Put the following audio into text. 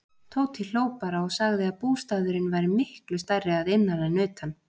Tóti hló bara og sagði að bústaðurinn væri miklu stærri að innan en utan.